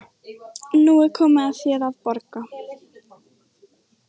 Nú er komið að þér að borga.